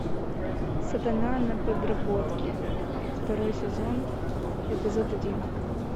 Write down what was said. сатана на подработке второй сезон эпизод один